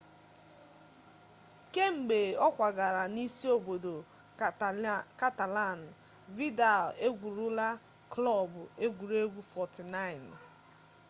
kemgbe ọ kwagara na isi obodo catalan vidal egwurula klọb egwuregwu 49